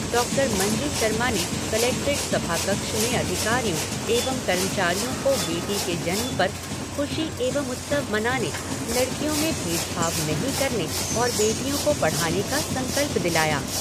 Doctor Manju Sharma ने कलेक्ट्रेट सभाकक्ष में अधिकारियों एवं कर्मचारियों को बेटी के जन्म पर खुशी एवं उत्सव मनाने, लडकियों में भेदभाव नहीं करने और बेटियों को पढ़ाने का संकल्प दिलाया।